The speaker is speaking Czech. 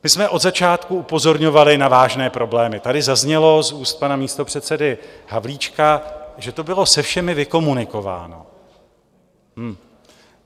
My jsme od začátku upozorňovali na vážné problémy, tady zaznělo z úst pana místopředsedy Havlíčka, že to bylo se všemi vykomunikováno.